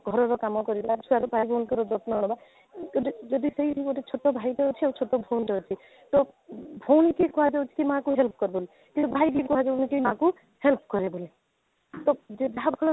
ଘରର କାମ କରିବା ଛୁଆ ଆଉ ସ୍ୱାମୀ ଙ୍କର ଯତ୍ନ ନେବା କିନ୍ତୁ ଯଦି ସେଇଠି ଗୋଟିଏ ଛୋଟ ଭାଇଟେ ଅଛି ଆଉ ଛୋଟ ଭଉଣୀଟେ ଅଛି ତ ଭଉଣୀ କି କୁହ ଯାଉଛି କି ମାଆକୁ help କରିଦେ କିନ୍ତୁ ଭାଇକୁ କୁହା ଯାଉନି କି ମାଆକୁ help କରିଦେ ତ ଯେ ଭାବ